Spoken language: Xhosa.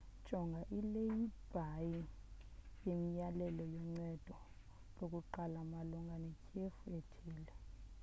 jonga ileyibhile yemiyalelo yoncedo lokuqala malunga netyhefu ethile